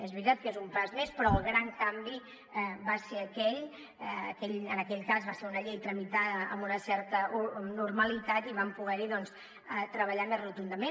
és veritat que és un pas més però el gran canvi va ser aquell en aquell cas va ser una llei tramitada amb una certa normalitat i hi vam poder doncs treballar més rotundament